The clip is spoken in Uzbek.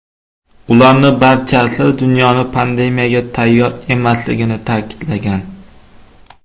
Ularning barchasi dunyoning pandemiyaga tayyor emasligini ta’kidlagan.